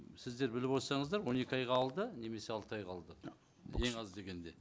сіздер біліп отырсаңыздар он екі айға алды немесе алты айға алды ең аз дегенде